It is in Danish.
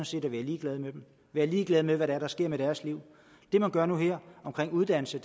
set at være ligeglade med dem være ligeglad med hvad der sker med deres liv det man gør nu og her omkring uddannelse